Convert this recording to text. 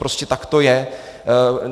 Prostě tak to je.